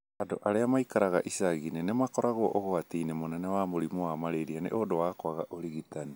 Andũ arĩa maikaraga icagi-inĩ nĩ makoragwo ũgwati-inĩ mũnene wa mũrimũ wa malaria nĩ ũndũ wa kwaga ũrigitani.